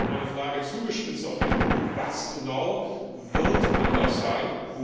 Daher war meine Frage zugespitzt auf den Punkt Was genau wird anders sein?